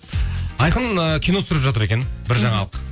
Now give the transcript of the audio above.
айқын ы кино түсіріп жатыр екен бір жаңалық